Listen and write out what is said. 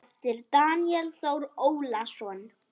eftir Daníel Þór Ólason